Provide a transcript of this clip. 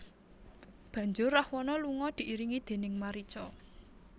Banjur Rahwana lunga diiringi déning Marica